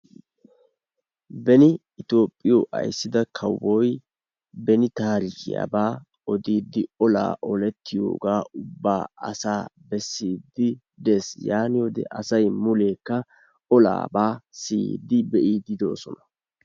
Beni Itoophphiyo ayssida kawoy beni taarikiyaabaa odiiddi, olaa olettiyogaa ubbaa asaa bessiiddi dees. Yaaniyode asay muleekka olaabaa siyiiddi be'iiddi de'ees.